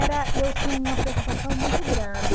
eu tinha uma preocupação muito grande.